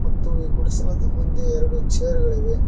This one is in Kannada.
ಮತ್ತು ಈ ಗುಡಿಸಲುದು ಮುಂದೆ ಎರಡು ಚೇರ್ ಗಳಿವೆ.